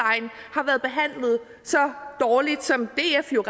har været behandlet så dårligt som df jo